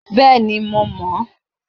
Bẹ́ẹ̀ni, mo mọ n